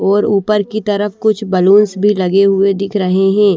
और ऊपर की तरफ कुछ बैलूंस भी लगे हुए दिख रहे हैं।